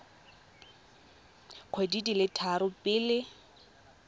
dikgwedi di le tharo pele